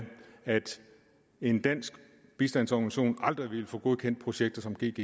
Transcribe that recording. at en dansk bistandsorganisation aldrig ville få godkendt projekter som gggi